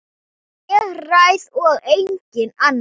Ég ræð og enginn annar.